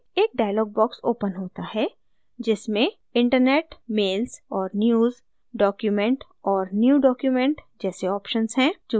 एक dialog box opens होता है जिसमें internet mails और news document और new document जैसे options हैं